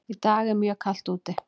Í dag er mjög kalt úti.